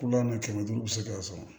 Kulɔnni kɛmɛ duuru u bɛ se k'a sɔrɔ